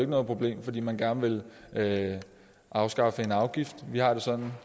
noget problem fordi man gerne ville afskaffe en afgift vi har det sådan